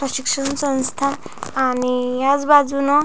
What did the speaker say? शिक्षण संस्था आणि ह्याच बाजूनं--